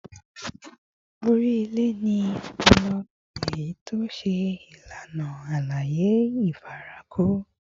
Ori ile ni ọpọlọ, eyiti o ṣe ilana alaye ifarako